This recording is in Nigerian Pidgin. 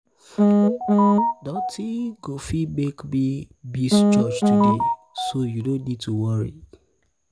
nothing go fit make me miss church today so you no need to worry